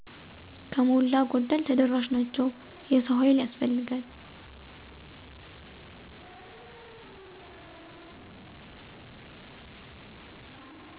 ከሞላ ጎደል ተደራሽ ናቸው። የሰው ሀይል ያስፈልጋል።